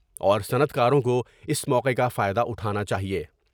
اور صنعت کاروں کو اس موقع کا فائدہ اٹھانا چاہئے ۔